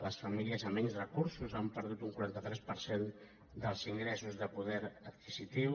les famílies amb menys recursos han perdut un quaranta tres per cent dels ingressos de poder adquisitiu